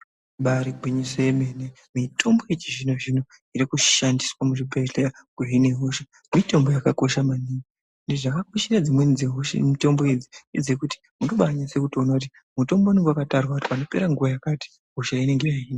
Ibari gwinyiso yemene mitombo yechizvinozvino iri kushandiswa muzvibhehlera mitombo yakakosha maningi, zvakakoshera dzimweni mitombo idzi ngedzekuti unobanyasa kutoona kuti mutombo unenge wakatarwa kuti panopera nguwa yakati hosha inenge yahina.